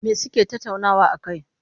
Me suke tattauna a kai?